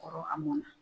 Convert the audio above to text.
Kɔrɔ a mɔnna